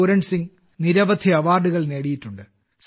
പൂരൺസിംഗ് നിരവധി അവാർഡുകൾ നേടിയിട്ടുണ്ട്